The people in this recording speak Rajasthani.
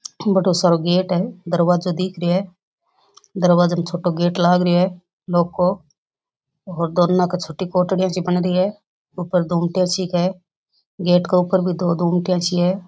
बड़ो सारो गेट है दरवाजा दिख रियो है दरवाजा में छोटो गेट लाग रियो है लौह को और दोनों की छोटी कोटरिया सी बन रही है ऊपर गुमटियां सी क है गेट के ऊपर भी दो गुमटियां सी है।